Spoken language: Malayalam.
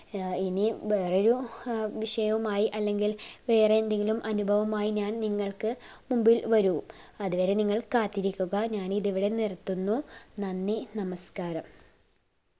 ഇനിയും വേറെയൊരു വിഷയുമായി അല്ലെങ്കിൽ വേറെ എന്തെങ്കിലും അനുഭവുമായി ഞാൻ നിങ്ങൾക്ക് മുമ്പിൽ വരു അതുവരെ നിങ്ങൾ കാത്തിരിക്കുക ഞാൻ ഇതുവരെ നിർത്തുന്നു നന്ദി നമസ്ക്കാരം